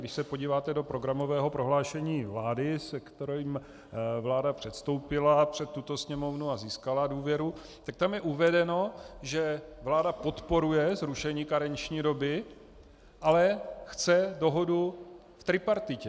Když se podíváte do programového prohlášení vlády, se kterým vláda předstoupila před tuto Sněmovnu a získala důvěru, tak tam je uvedeno, že vláda podporuje zrušení karenční doby, ale chce dohodu v tripartitě.